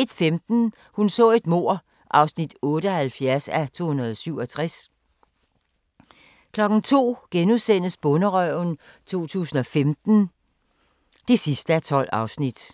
01:15: Hun så et mord (78:267) 02:00: Bonderøven 2015 (12:12)*